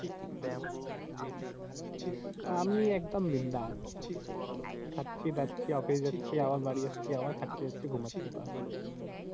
আমি একদম বিন্দ্যাস। খাচ্চি দাচ্ছি, অফিস যাচ্ছি, আবার বাড়ি যাচ্ছি, আবার খাচ্ছি দাচ্ছি, ঘুমাচ্ছি।